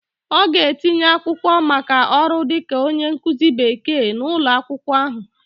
Ọ ga-etinye akwụkwọ maka ọrụ dịka onye nkụzi Bekee n'ụlọ akwụkwọ ahụ